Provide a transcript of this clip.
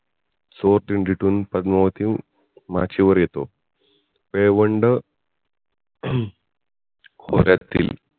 तिथून पद्मावती मार्गे वर येतो प्येय्वंड हम्म खोर्यातील